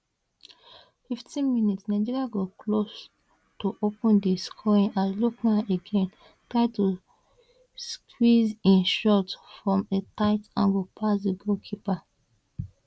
15 mins nigeria go close to open di scoring as lookman again try to squeeze im shot from a tight angle past di goalkeeper